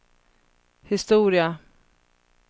historia